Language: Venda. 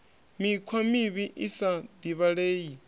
mikhwa mivhi i sa divhalei